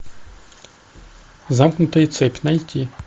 замкнутая цепь найти